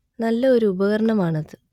നല്ല ഒരു ഉപകരണം ആണ് അത്